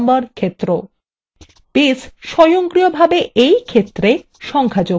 base স্বয়ংক্রিয়ভাবে এই ক্ষেত্রে সংখ্যা যোগ করবে